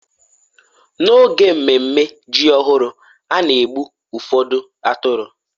n'oge ememe ji ọhụrụ a na-egbu ụfọdụ atụrụ